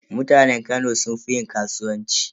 Mutanen Kano sun fi yin kasuwanci.